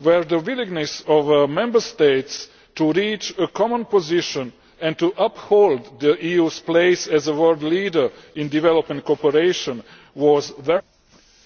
where the willingness of Member States to reach a common position and to uphold the EU's place as world leader in development cooperation was very strong.